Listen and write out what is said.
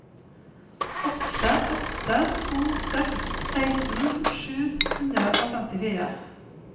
åtte åtte to seks seksten sju hundre og femtifire